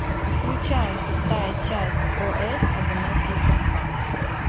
включай шестая часть о с одинокие сердца